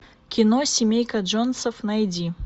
кино семейка джонсов найди